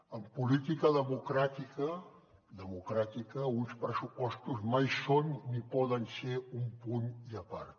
en política democràtica democràtica uns pressupostos mai són ni poden ser un punt i a part